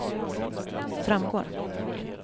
framgår